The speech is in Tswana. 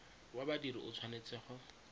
wa badiri o tshwanetse go